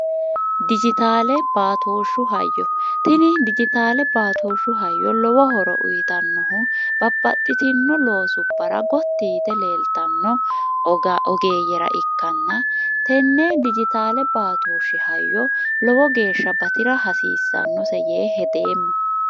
dijitaale baatooshshu hayyo tini dijitaale baatooshshu hayyo lowohoro uyitannohu babbaxxitinno loosu bara gottiyite leeltanno ogeeyyera ikkanna tenne dijitaale baatooshshi hayyo lowo geeshsha batira hasiissannose yee hedeemma